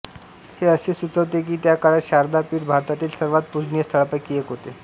हे असे सुचवते की त्या काळात शारदा पीठ भारतातील सर्वात पूजनीय स्थळांपैकी एक होते